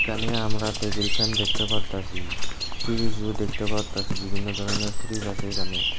এখানে আমরা table fan দেখতে পারতাসি ফ্রিজও দেখতে পারতাসি বিভিন্ন ধরনের ফ্রিজ আছে এখানে।